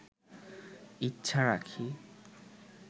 ইচ্ছা রাখি